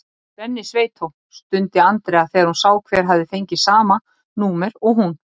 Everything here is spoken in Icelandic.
Svenni sveitó! stundi Andrea þegar hún sá hver hafði fengið sama númer og hún.